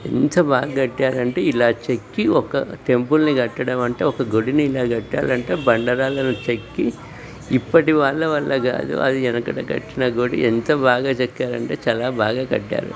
ఎంత బాగా కట్టారు అంటే ఇలా చెక్కి ఒక టెంపుల్ని కట్టడం అంటే ఒక గుడిని ఇలా కట్టారంటే బండరాలని చెక్కి ఇప్పటి వాళ్ళ కాదు అది వెనకట కట్టిన గుడి ఎంత బాగా ఎంత బాగా చెక్కారు అంటే చాలా బాగా కట్టారు.